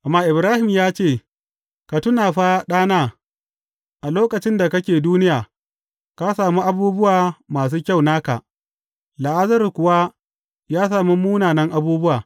Amma Ibrahim ya ce, Ka tuna fa ɗana, a lokacin da kake duniya, ka sami abubuwa masu kyau naka, Lazarus kuwa ya sami munanan abubuwa.